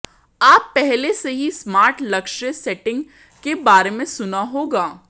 आप पहले से ही स्मार्ट लक्ष्य सेटिंग के बारे में सुना होगा